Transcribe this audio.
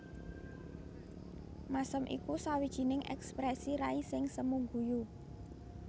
Mèsem iku sawijining èksprèsi rai sing semu guyu